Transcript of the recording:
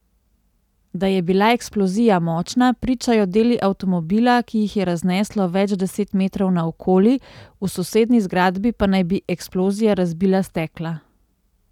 Da je bila eksplozija močna, pričajo deli avtomobila, ki jih je razneslo več deset metrov naokoli, v sosednji zgradbi pa naj bi eksplozija razbila stekla.